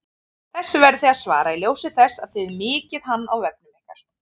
Þessu verðið þið að svara í ljósi þess að þið miklið hann á vefnum ykkar!